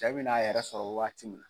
Cɛ bi n'a yɛrɛ sɔrɔ waati min.